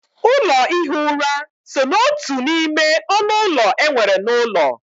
Ụlọ ihi ura so n'otu n'ime ọnụ ụlọ e nwere n'ụlọ.